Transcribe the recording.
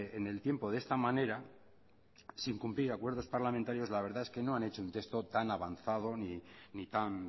en el tiempo de esta manera sin cumplir acuerdos parlamentarios la verdad es que no han hecho un texto tan avanzado ni tan